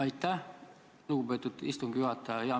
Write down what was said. Aitäh, lugupeetud istungi juhataja!